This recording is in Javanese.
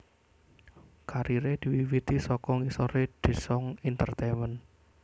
Kariré diwiwiti saka ngisoré Daesung entertainment